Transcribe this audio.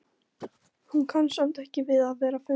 Hún kann samt ekki við að vera afundin.